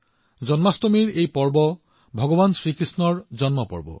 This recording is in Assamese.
জন্মাষ্টমীৰ এই উৎসৱৰ অৰ্থ হৈছে ভগৱান কৃষ্ণৰ জন্ম জয়ন্তী